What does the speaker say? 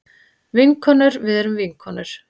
Vinkonur við erum vinkonur.